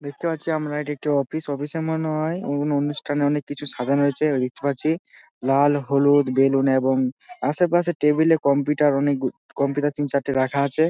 দেখতে পাচ্ছি আমরা এটি একটি অফিস অফিস এর মনে হয় অনুষ্ঠানে অনেক কিছু সাজানো হয়েছে দেখতে পাচ্ছি লাল হলুদ বেলুন এবং আশেপাশের টেবিল এ কম্পিউটার অনেক গুলি কম্পিউটার তিন চারটে রাখা আছে।